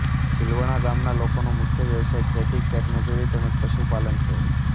ઝીલવણા ગામના લોકોનો મુખ્ય વ્યવસાય ખેતી ખેતમજૂરી તેમ જ પશુપાલન છે